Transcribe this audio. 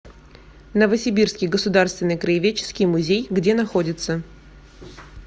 новосибирский государственный краеведческий музей где находится